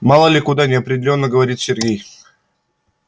мало ли куда неопределённо говорит сергей